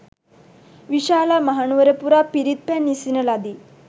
විශාලා මහනුවර පුරා පිරිත් පැන් ඉසින ලදී.